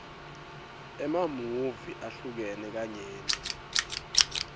emamuvi ahlukene kanyenti